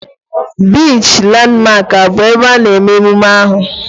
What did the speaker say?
Biichi Landmark abụ ebe a na-eme emume ahu?